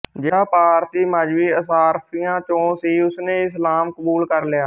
ਜਿਹੜਾ ਪਾਰਸੀ ਮਜ਼੍ਹਬੀ ਅਸ਼ਰਾਫ਼ੀਆ ਚੋਂ ਸੀ ਉਸਨੇ ਇਸਲਾਮ ਕਬੂਲ ਕਰ ਲਿਆ